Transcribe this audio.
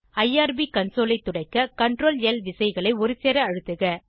IRB console ஐ துடைக்க ctrl ல் விசைகளை ஒருசேர அழுத்துக